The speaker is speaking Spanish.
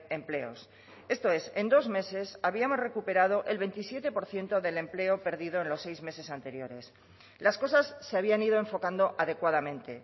empleos esto es en dos meses habíamos recuperado el veintisiete por ciento del empleo perdido en los seis meses anteriores las cosas se habían ido enfocando adecuadamente